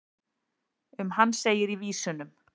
um hann segir í vísunum